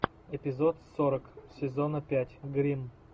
эпизод сорок сезона пять гримм